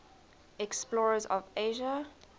explorers of asia